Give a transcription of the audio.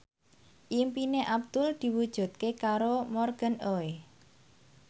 impine Abdul diwujudke karo Morgan Oey